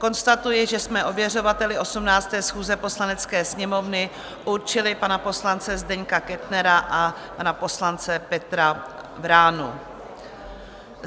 Konstatuji, že jsme ověřovateli 18. schůze Poslanecké sněmovny určili pana poslance Zdeňka Kettnera a pana poslance Petra Vránu.